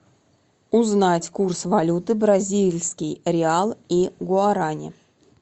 узнать курс валюты бразильский реал и гуарани